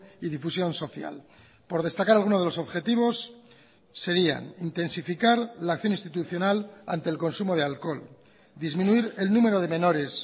y difusión social por destacar alguno de los objetivos serían intensificar la acción institucional ante el consumo de alcohol disminuir el número de menores